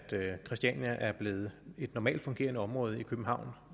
christiania er blevet et normalt fungerende område i københavn